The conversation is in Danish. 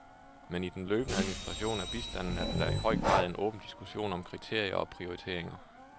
Men i den løbende administration af bistanden er der da i høj grad en åben diskussion om kriterier og prioriteringer.